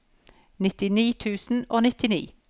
nittini tusen og nittini